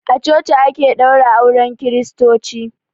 A coci ake ɗaura auren kristoci.